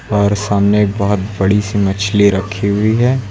और सामने एक बहोत बड़ी सी मछली रखी हुई है।